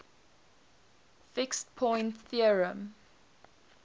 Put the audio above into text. fixed point theorem